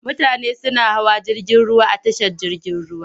Mutane suna hawa jirgin ruwa a tashar jirgin ruwa.